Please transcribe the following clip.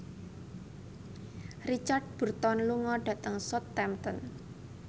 Richard Burton lunga dhateng Southampton